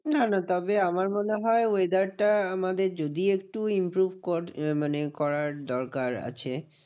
না না তবে আমার মনে হয় weather টা আমাদের যদি একটু improve কর মানে করার দরকার আছে।